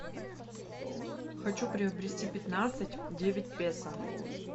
хочу приобрести пятнадцать девять песо